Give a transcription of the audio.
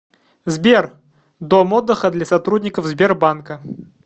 сбер дом отдыха для сотрудников сбербанка